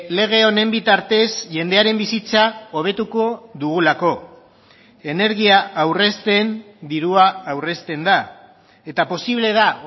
lege honen bitartez jendearen bizitza hobetuko dugulako energia aurrezten dirua aurrezten da eta posible da